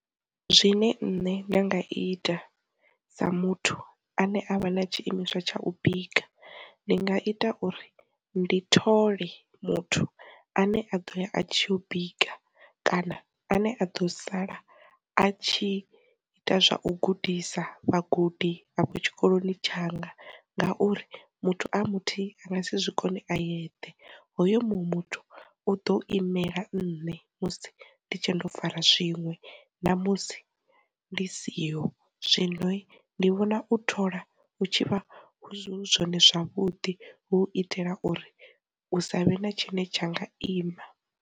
Zwine nṋe nda nga ita sa muthu ane avha na tshiimiswa tsha u bika ndi nga ita uri, ndi thole muthu ane a ḓo ya a tshi u bika kana ane a ḓo sala a tshi ita zwa u gudisa vhagudi afho tshikoloni tshanga ngauri muthu a muthu anga si zwikone a yeṱhe hoyo muṅwe muthu u ḓo imela nne musi ndi tshe ndo fara zwiṅwe na musi ndi siho, zwino ndi vhona u thola hu tshivha zwi hu zwone zwavhuḓi hu itela uri u sa vhe na tshine tsha nga ima.